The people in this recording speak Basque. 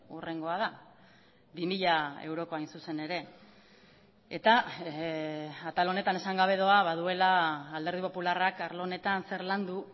hurrengoa da bi mila eurokoa hain zuzen ere eta atal honetan esan gabe doa baduela alderdi popularrak arlo honetan zer landu